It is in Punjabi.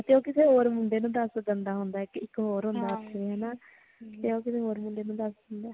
ਹਾਂ ਤੇ ਉਹ ਕਿਸੇ ਹੋਰ ਮੁੰਡੇ ਨੂੰ ਦਸ ਦਿੰਦਾ ਹੁੰਦਾ ਕਿ ਇੱਕ ਹੋਰ ਹੁੰਦਾ ਉਥੇ ਹਨਾਂ ਤੇ ਉਹ ਕਿਸੇ ਹੋਰ ਮੁੰਡੇ ਦਿੰਦਾਂ